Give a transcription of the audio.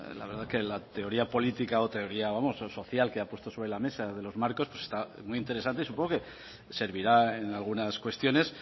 la verdad que la teoría política o teoría vamos social que ha puesto sobre la mesa de los marcos estaba muy interesante y supongo que servirá en algunas cuestiones